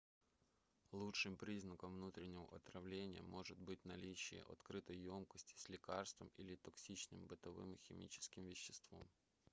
лучшим признаком внутреннего отравления может быть наличие открытой ёмкости с лекарством или токсичным бытовым химическим веществом